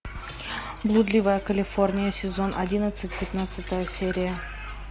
блудливая калифорния сезон одиннадцать пятнадцатая серия